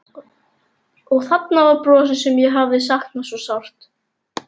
Og þarna var brosið sem ég hafði saknað svo sárt.